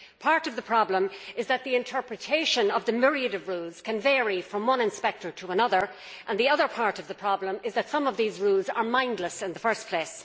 Part of the problem is that interpretation of the myriad rules can vary from one inspector to another. The other part of the problem is that some of the rules are mindless in the first place.